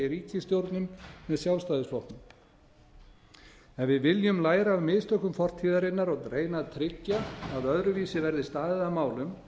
ríkisstjórnum með sjálfstæðisflokknum ef við viljum læra af mistökum fortíðarinnar og reyna að tryggja að öðruvísi verði staðið að málum